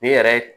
Ne yɛrɛ